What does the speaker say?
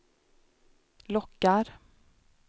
lockar